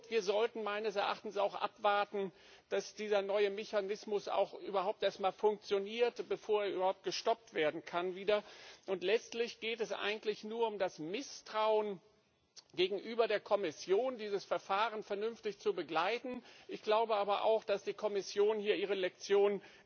Wir sollten meines Erachtens auch abwarten, dass dieser neue Mechanismus überhaupt erstmal funktioniert, bevor er überhaupt wieder gestoppt werden kann, und letztlich geht es eigentlich nur um das Misstrauen gegenüber der Kommission, dieses Verfahren vernünftig zu begleiten. Ich glaube aber auch, dass die Kommission hier ihre Lektionen